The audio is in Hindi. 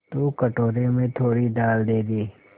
तो कटोरे में थोड़ी दाल दे दे